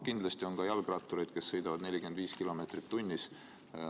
Kindlasti on jalgrattureid, kes sõidavad 45 kilomeetrit tunnis.